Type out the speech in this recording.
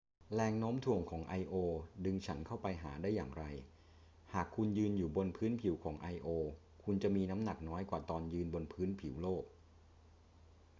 แรงโน้มถ่วงของ io ดึงฉันเข้าไปหาได้อย่างไร หากคุณยืนอยู่บนพื้นผิวของ io คุณจะมีน้ำหนักน้อยกว่าตอนยืนบนผิวโลก